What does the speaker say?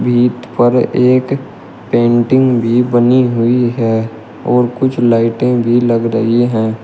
Wheat पर एक painting भी बनी हुई है और कुछ लाइटें भी लग रही हैं।